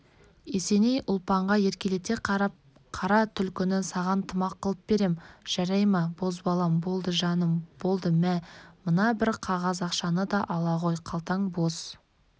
есеней ұлпанға еркелете қарап қара түлкіні саған тымақ қылып берем жарай ма бозбалам болды жаным болды мә мына бір қағаз ақшаны да ала ғой қалтаң бос